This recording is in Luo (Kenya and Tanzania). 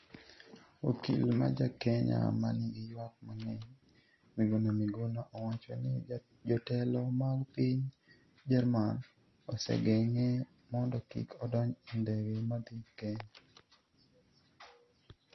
Okil ma ja Kenya ma nigi ywak mang’eny, Miguna Miguna, owacho ni jotelo mag piny Jerman osegeng’e mondo kik odonj e ndege ma dhi Kenya.